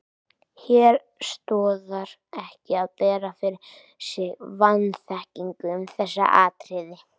Hér stoðar ekki að bera fyrir sig vanþekkingu um þessi atriði.